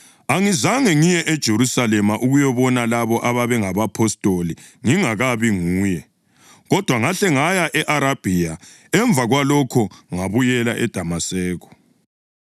Angizange ngiye eJerusalema ukuyabona labo ababengabapostoli ngingakabi nguye, kodwa ngahle ngaya e-Arabhiya. Emva kwalokho ngabuyela eDamaseko.